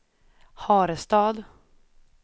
Harestad